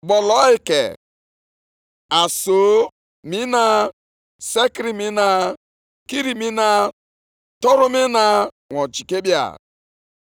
“Nʼihi na ihe ndị a ka Onyenwe anyị, Onye pụrụ ime ihe niile kwuru, ‘Ọ fọdụrụ otu ugbo, nwa oge nta gasịa, aga m ayọgharị eluigwe na ụwa, na osimiri na ala akọrọ.